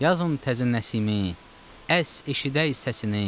Yazın təzə Nəsimi, əs, eşidək səsini.